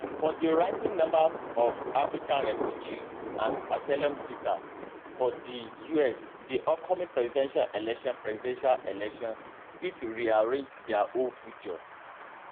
for di rising number of african refugees and asylum seekers for di us di upcoming presidential election presidential election fit rearrange dia whole future